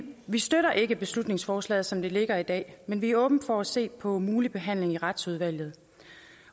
vi støtter ikke beslutningsforslaget som det ligger i dag men vi er åbne over for at se på en mulig behandling i retsudvalget